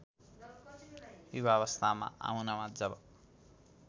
युवावस्थामा आउनमा जब